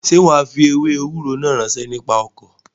Sé wàá fi ewé ewúro náà ránṣẹ́ nípa ọkọ̀?